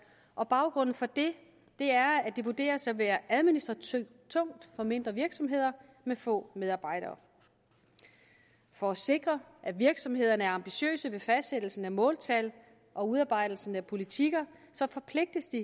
og baggrunden for det er at det vurderes at være administrativt tungt for mindre virksomheder med få medarbejdere for at sikre at virksomhederne er ambitiøse ved fastsættelsen af måltal og udarbejdelsen af politikker forpligtes de